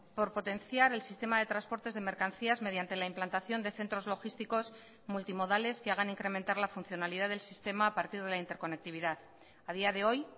por potenciar el sistema de transportes de mercancías mediante la implantación de centros logísticos multimodales que hagan incrementar la funcionalidad del sistema a partir de la interconectividad a día de hoy